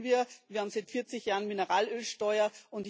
Das kennen wir Wir haben seit 40 Jahren Mineralölsteuer.